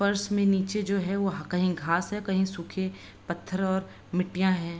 फर्श में नीचे जो हैं वह कहीं घास हैं कहीं सूखे पत्थर और मिट्टियाँ हैं।